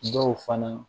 Dɔw fana